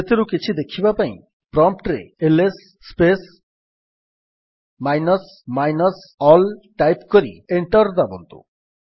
ସେଥିରୁ କିଛି ଦେଖିବା ପାଇଁ ପ୍ରମ୍ପ୍ଟ୍ ରେ L S space minus minus all type କରି ଏଣ୍ଟର୍ ଦାବନ୍ତୁ